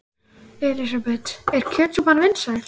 Elísabet: Er kjötsúpan vinsæl?